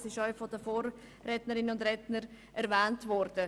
Dies ist auch von den Vorrednerinnen und -rednern erwähnt worden.